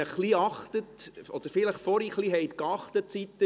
Vielleicht haben Sie vorhin ein wenig Acht gegeben.